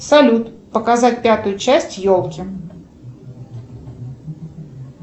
салют показать пятую часть елки